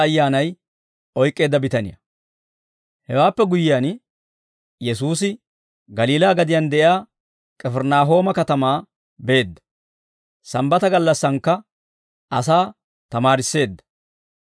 Hewaappe guyyiyaan Yesuusi Galiilaa gadiyaan de'iyaa K'ifirinaahooma katamaa beedda. Sambbata gallassaankka asaa tamaarisseedda.